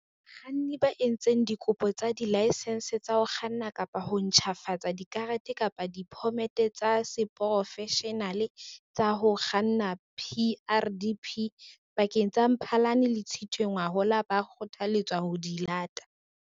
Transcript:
Bakganni ba entseng dikopo tsa dilaesense tsa ho kganna kapa ho ntjhafatsa dikarete kapa diphomete tsa seporofeshenale tsa ho kganna, PrDP, pakeng tsa Mphalane le Tshitwe ngwahola ba kgothaletswa ho ya di lata.